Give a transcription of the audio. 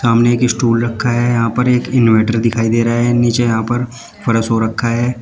सामने एक स्टूल रखा है यहां पर एक इनवर्टर दिखाई दे रहा है नीचे यहां पर फर्श हो रखा है।